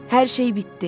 Hər şey bitdi.